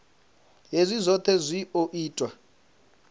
hezwi zwohe zwi o ita